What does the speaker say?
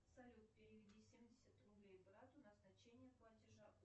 салют переведи семьдесят рублей брату назначение платежа